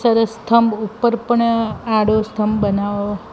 ચરસ સ્થમ્ભ ઉપર પણ આડો સ્થમ્ભ બનાઓ--